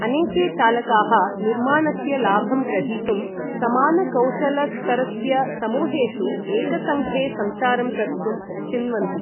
अनेके चालकाः निर्माणस्य लाभं ग्रहीतुं समानकौशलस्तरस्य समूहेषु एकसङ्घे सञ्चारं कर्तुं चिन्वन्ति।